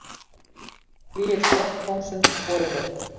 Flygill rokkkóngsins boðinn upp